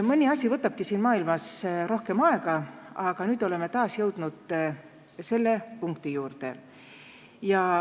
Mõni asi võtabki siin maailmas rohkem aega, aga nüüd oleme taas jõudnud selle punkti juurde.